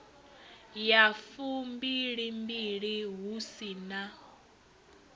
ya fumbilimbili hu si na